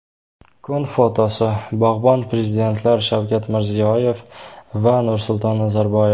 Kun fotosi: Bog‘bon prezidentlar Shavkat Mirziyoyev va Nursulton Nazarboyev.